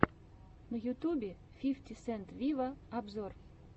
на ютубе фифти сент виво обзор